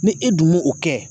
Ni e dun m'o o kɛ